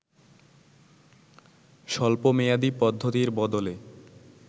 স্বল্প মেয়াদী পদ্ধতির বদলে